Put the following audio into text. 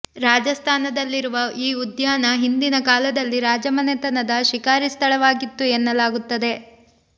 ರಾಜಸ್ಥಾನದಲ್ಲಿರುವ ಈ ಉದ್ಯಾನ ಹಿಂದಿನ ಕಾಲದಲ್ಲಿ ರಾಜ ಮನೆತನದ ಶಿಖಾರಿ ಸ್ಥಳವಾಗಿತ್ತು ಎನ್ನಲಾಗುತ್ತದೆ